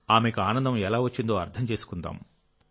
ఆమెకు ఆనందం ఎలా వచ్చిందో అర్థం చేసుకుందాం